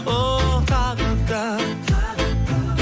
оу тағы да